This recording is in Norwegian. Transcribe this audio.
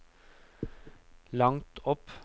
langt opp